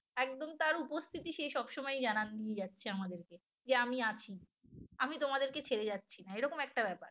একদম তার উপস্থিতি সে সবসময় জানান জানিয়ে যাচ্ছে আমাদেরকে যে আমি আছি আমি তোমাদেরকে ছেড়ে যাচ্ছি না এরকম একটা ব্যাপার